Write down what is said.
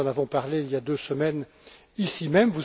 nous en avons parlé il y a deux semaines, ici même.